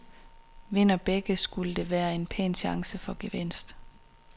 Vinder begge, skulle der være en pæn chance for gevinst.